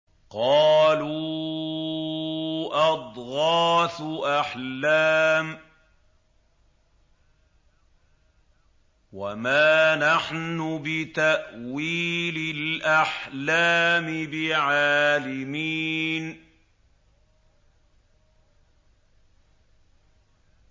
قَالُوا أَضْغَاثُ أَحْلَامٍ ۖ وَمَا نَحْنُ بِتَأْوِيلِ الْأَحْلَامِ بِعَالِمِينَ